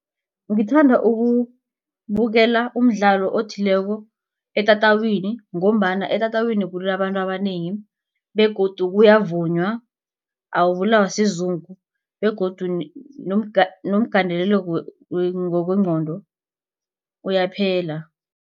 Ngithanda ukubukela umdlalo othileko etatawini ngombana etatawini kunabantu abanengi begodu kuyavunywa awubulawa sizungu begodu nomgandelelo ngokwengqondo uyaphela.